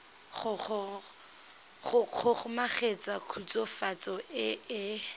go kgomaretsa khutswafatso e e